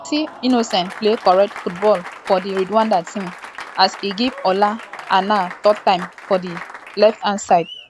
also nshuti innocent play correct football for di rwanda team um as e give ola aina tough time for di um left hand side.